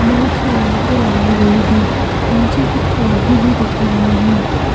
बहुत सी लाइटें लगाई गई है नीचे कुछ पौधे भी रखे गए है।